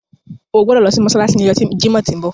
O gbodo lo si mósálásí ni ọjọ Jimọ ti nbọ.